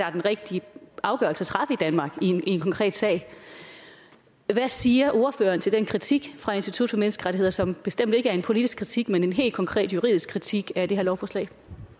er den rigtige afgørelse at træffe i danmark i en en konkret sag hvad siger ordføreren til den kritik fra institut for menneskerettigheder som bestemt ikke er en politisk kritik men en helt konkret juridisk kritik af det her lovforslag